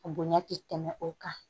Bonɲa tɛ tɛmɛ o kan